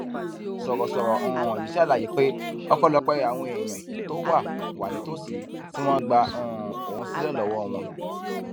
sọrọsọrọ um yìí ṣàlàyé pé ọpẹlọpẹ àwọn èèyàn tó wà wà nítòsí tí wọn gba um òun sílẹ lọwọ wọn